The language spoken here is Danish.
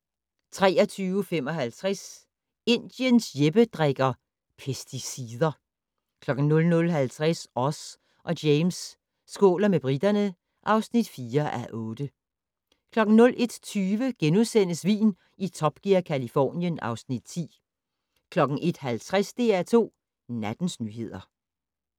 23:55: Indiens Jeppe drikker - pesticider 00:50: Oz og James skåler med briterne (4:8) 01:20: Vin i Top Gear - Californien (Afs. 10)* 01:50: DR2 Nattens nyheder